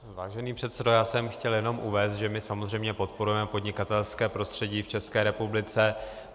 Vážený předsedo, já jsem chtěl jenom uvést, že my samozřejmě podporujeme podnikatelské prostředí v České republice.